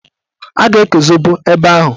A ga-eke zobo ebe ahụ.